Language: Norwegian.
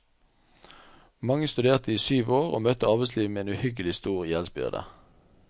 Mange studerte syv år, og møtte arbeidslivet med en uhyggelig stor gjeldsbyrde.